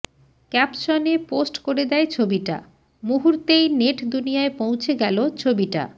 ক্যাপসনে post করে দেয় ছবিটা মুহুর্তেই নেট দুনিয়ায় পৌঁছে গেলো ছবিটা